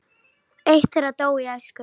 Eitt þeirra dó í æsku.